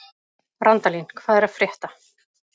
Randalín, hvað er að frétta?